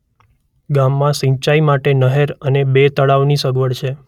ગામમાં સિંચાઇ માટે નહેર અને બે તળાવની સગવડ છે.